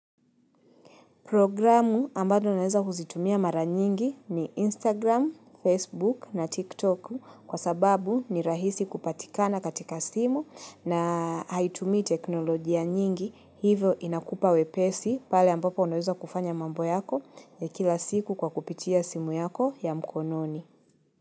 Programu ambalo naeza kuzitumia mara nyingi ni Instagram, Facebook na TikTok kwa sababu ni rahisi kupatikana katika simu na haitumii teknolojia nyingi hivo inakupa wepesi pale ambapo unaweza kufanya mambo yako ya kila siku kwa kupitia simu yako ya mkononi.